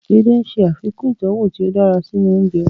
Edé ń ṣe àfikún ìtọ́wọ̀ tí ó dára sínú oúnjẹ